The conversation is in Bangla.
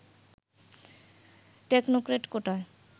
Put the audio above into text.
টেকনোক্র্যাট কোটায়